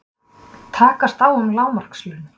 Takast á um lágmarkslaun